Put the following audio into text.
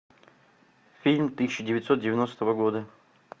фильм тысяча девятьсот девяностого года